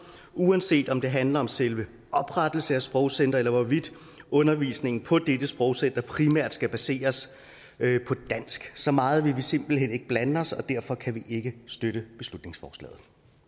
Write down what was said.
uanset om det handler om selve oprettelsen af et sprogcenter eller hvorvidt undervisningen på dette sprogcenter primært skal baseres på dansk så meget vil vi simpelt hen ikke blande os og derfor kan vi ikke støtte beslutningsforslaget